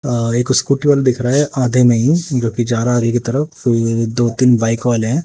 अह एक स्कूटर वाला दिख रहा है आगे में ही जो कि जा रहा है आगे की तरफ तो ये दो तीन बाइक वाले हैं।